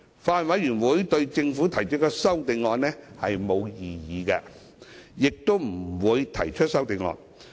法案委員會對政府提出的修正案沒有異議，亦不會提出修正案。